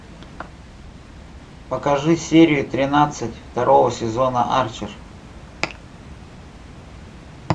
покажи серию тринадцать второго сезона арчер